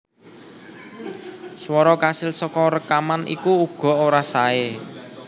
Swara kasil saka rékaman iku uga ora saé